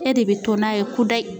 E de be to n'a ye kudayi